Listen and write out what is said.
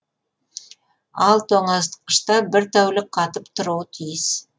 ал тоңазытқышта бір тәулік қатып тұруы тиіс